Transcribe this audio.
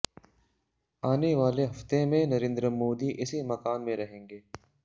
आने वाले हफ्ते में नरेंद्र मोदी इसी मकान में रहेंगे